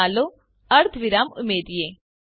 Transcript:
તો ચાલો અર્ધવિરામ ઉમેરીએ